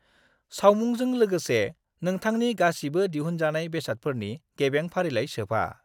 सावमुंजों लोगोसे नोंथांनि गासिबो दिहुनजानाय बेसादफोरनि गेबें फारिलाइ सोफा।